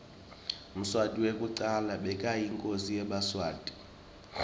mswati wekucala bekayinkhosi yemaswati